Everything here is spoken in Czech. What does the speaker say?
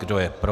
Kdo je pro?